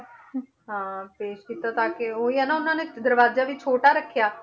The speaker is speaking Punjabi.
ਹਾਂ ਤੇ ਕੀਤਾ ਤਾਂ ਕਿ ਉਹੀ ਆ ਨਾ ਉਹਨਾਂ ਨੇ ਦਰਵਾਜ਼ਾ ਵੀ ਛੋਟਾ ਰੱਖਿਆ